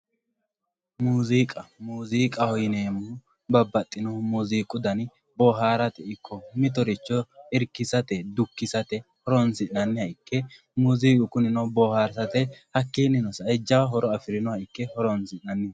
Muuziqqa, muuziiqaho yineemohu babaxino muuziqqu danni bohaaratte ikko mitoricho irikisate ikko dukkisate horonsinaniha ikke muuziiqu kunino boharisatte hakinino sae jawa horo afirinoha ikke horonsinanni